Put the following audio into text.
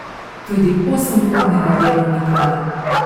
Tudi osemurnega delovnika ne.